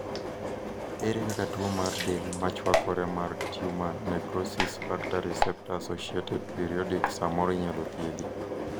ere kaka tuo mar del machwakore mar Tumor necrosis factor receptor associated periodic samoro inyalo thiedhi?